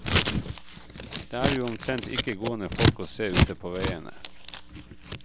Det er jo omtrent ikke gående folk å se ute på veiene.